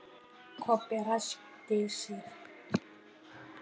Kobbi ræskti sig.